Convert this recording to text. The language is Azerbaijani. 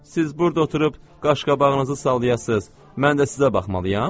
Siz burda oturub qaşqabağınızı sallayasız, mən də sizə baxmalıyam?